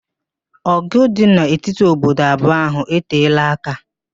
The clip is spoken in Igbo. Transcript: Ọ̀gụ̀ dị n'etiti obodo abụọ ahụ eteela aka.